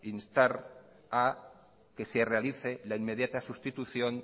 instar a que se realice la inmediata sustitución